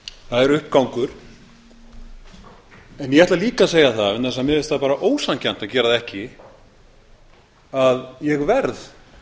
það er uppgangur en ég ætla líka að segja það vegna þess að mér finnst það bara ósanngjarnt að gera það ekki að ég verð